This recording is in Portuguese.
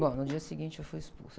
Bom, no dia seguinte eu fui expulsa.